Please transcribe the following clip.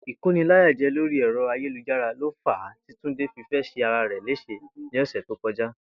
Ìkóniláyàjé̩ lórí è̩ro̩ ayélujára lo fàá tí Túndé fi fé̩ s̩e ara rè̩ lés̩e ní ò̩sè̩ tó ko̩já